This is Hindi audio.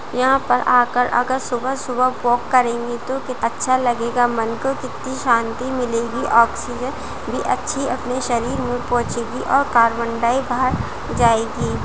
यहाँ पर आकर अगर सुबह सुबह वाक करेंगे तो कितना अच्छा लगेगा मन को कितनी शांति मिलेगी ऑक्सीजन भी अच्छी अपनी शरीर में पहुंचेगी और कार्बन-डाय बाहर जाएगी।